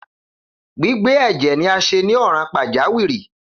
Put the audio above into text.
Gbigbe ẹjẹ ni a ṣe ni ọran pajawiri.